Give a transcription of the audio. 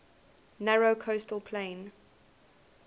narrow coastal plain